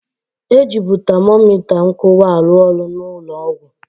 E jịbụ tamomita nkụwa arụ ọrụ na ụnọ ọgwụ.